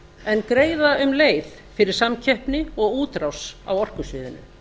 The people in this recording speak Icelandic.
en greiða um leið fyrir samkeppni og útrás á orkusviðinu